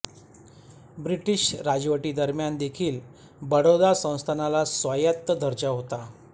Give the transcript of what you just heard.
British राजवटीदरम्यान देखील बडोदा संस्थानाला स्वायत्त दर्जा होता